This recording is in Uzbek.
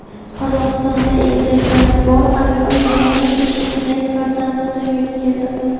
Qozog‘istonda egizaklari bor ayol yana uch egizak farzandni dunyoga keltirdi.